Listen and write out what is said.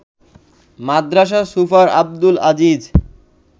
Madrasa super Abdul Aziz